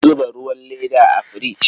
An zuba ruwan leda a firich.